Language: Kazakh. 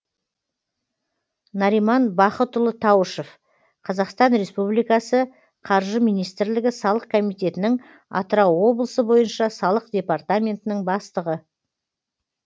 нариман бахытұлы таушов қазақстан республикасықаржы министрлігі салық комитетінің атырау облысы бойынша салық департаментінің бастығы